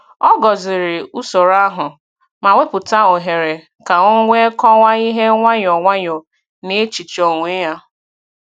Ọ gọ̀zìrì usoro ahụ, ma wepụta ohere ka o wee kọwaa ihe nwayọ nwayọ n’echiche onwe ya.